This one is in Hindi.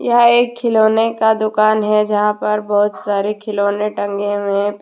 यह एक खिलौने का दुकान है जहां पर बहुत सारे खिलौने टंगे हुए हैं फिर।